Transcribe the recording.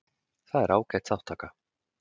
Það er ágæt þátttaka